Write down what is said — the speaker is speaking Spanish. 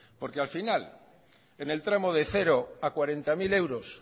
porque al final en el tramo de cero a cuarenta mil euros